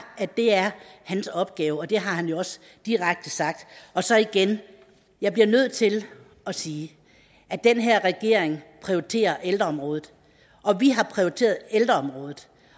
at det er hans opgave og det har han jo også direkte sagt så igen jeg bliver nødt til at sige at den her regering prioriterer ældreområdet og vi har prioriteret ældreområdet